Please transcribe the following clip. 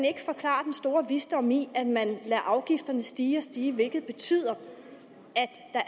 ikke forklare den store visdom i at man lader afgifterne stige og stige hvilket betyder